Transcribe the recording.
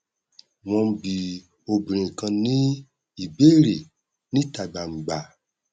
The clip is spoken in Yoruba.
wọn n bi obìnrin kan ní ìbéèrè níta gbangba